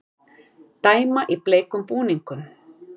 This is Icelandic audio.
Dæma í bleikum búningum